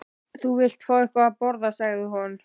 Þú vilt fá eitthvað að borða sagði hún.